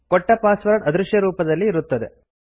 ಕೊಟ್ಟ ಪಾಸ್ವರ್ಡ್ ಅದೃಶ್ಯರೂಪದಲ್ಲಿ ಇರುತ್ತದೆ